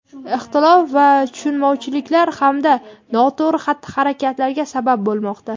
ixtilof va tushunmovchiliklar hamda noto‘g‘ri xatti-harakatlarga sabab bo‘lmoqda.